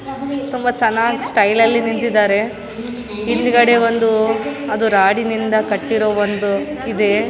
ತುಂಬ ಚೆನ್ನಾಗ್‌ ಸ್ಟೈಲಲ್ಲಿ ನಿಂತಿದ್ದಾರೆ ಹಿಂದ್‌ಗಡೆ ಒಂದು ಅದು ರಾಡಿನಿಂದ ಕಟ್ಟಿರೋ ಒಂದು ಇದೆ .